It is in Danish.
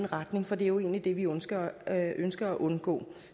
retning for det er jo egentlig det vi ønsker at ønsker at undgå